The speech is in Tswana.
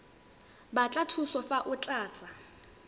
batla thuso fa o tlatsa